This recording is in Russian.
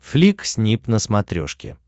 флик снип на смотрешке